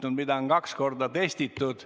Seda süsteemi on kaks korda testitud.